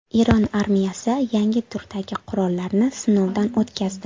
Eron armiyasi yangi turdagi qurollarni sinovdan o‘tkazdi.